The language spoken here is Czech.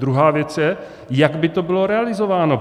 Druhá věc je, jak by to bylo realizováno.